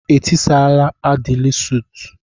Etisara Aịdịil suut?